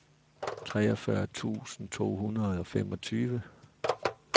treogfyrre tusind to hundrede og femogtyve